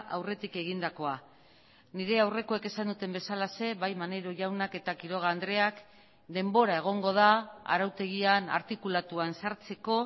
aurretik egindakoa nire aurrekoek esan duten bezalaxe bai maneiro jaunak eta quiroga andreak denbora egongo da arautegian artikulatuan sartzeko